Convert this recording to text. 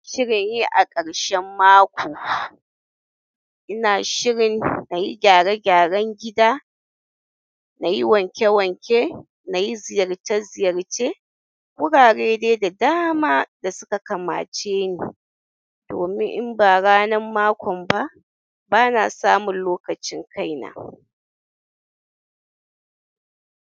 Shirin yi a ƙarshen mako, ina shirin na yi gyare-gyaren gida na yi wanke-wanke, na yi ziyarce ziyarce wurare dai da dama da suka kamace ni. Domin in ba ranar makon ba, ba na samun lokacin kai na.